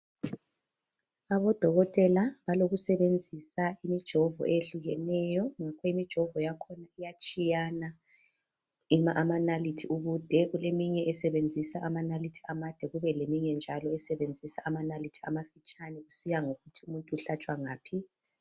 Odokotela balokusebenzisa imijovo eyehlukeneyo. Imijovo yakhona iyatshiyana amanalithi ubude, kuleminye esebenzisa amanalithi amancane, kube leminye njalo esebenzisa amanalithi amafitshane, kusiya ngokuthi umuntu uhlatshwa ngaphi.